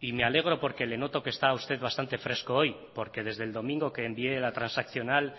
y me alegro porque le noto que está usted bastante fresco hoy porque desde el domingo que envié la transaccional